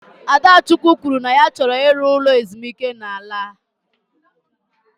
Adachukwu kwuru na ya chọrọ ịrụ ụlọ ezumike nka n'ala a